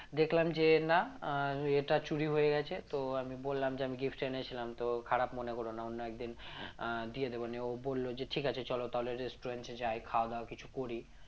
দেখলাম যে না আহ ইয়েটা চুরি হয়ে গেছে তো আমি বললাম যে আমি gift এনেছিলাম তো খারাপ মনে করো না অন্য একদিন আহ দিয়ে দেব নিয়ে ও বলল যে ঠিক আছে চলো তাহলে restaurant এ যায় খাওয়া-দাওয়া কিছু করি